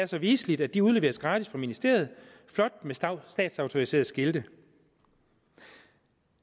så viseligt at de udleveres gratis af ministeriet flot med statsautoriserede skilte